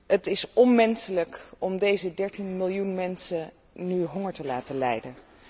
Het is onmenselijk om deze 13 miljoen mensen nu honger te laten lijden.